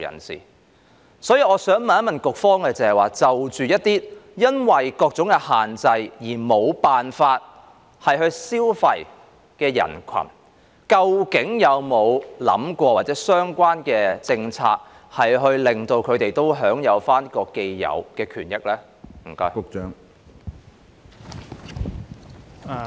所以，我想問局方，就一些因為各種限制而無法消費的群體，究竟當局有否考慮相關的政策，令到他們也可以享受這個既有的權益呢？